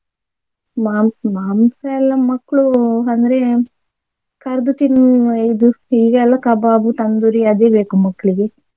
ಮಾ~ ಮಾಂಸ ಎಲ್ಲ ಮಕ್ಳು ಅಂದ್ರೆ ಕರ್ದು ತಿನ್ನುವ ಇದು ಈಗ ಎಲ್ಲಾ ಕಬಾಬು ತಂದೂರಿ ಅದೇ ಬೇಕು ಮಕ್ಳಿಗೆ.